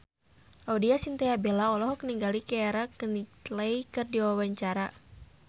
Laudya Chintya Bella olohok ningali Keira Knightley keur diwawancara